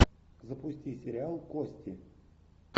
запусти сериал кости